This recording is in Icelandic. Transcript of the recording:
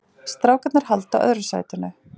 Strákarnir halda öðru sætinu